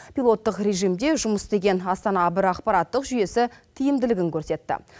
пилоттық режимде жұмыс істеген астана бір ақпараттық жүйесі тиімділігін көрсетті